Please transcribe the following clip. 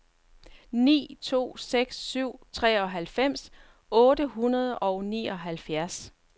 ni to seks syv treoghalvfems otte hundrede og nioghalvfjerds